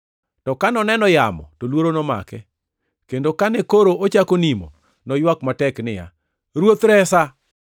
To ka noneno yamo to luoro nomake, kendo kane koro ochako nimo, noywak matek niya, “Ruoth, resa!”